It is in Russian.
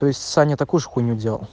то есть саня такую же хуйню делал